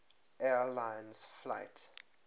air lines flight